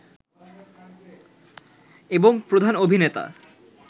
এবং প্রধান অভিনেতা